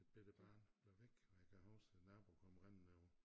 Et bette barn blev væk og jeg kan huske æ nabo kom rendende over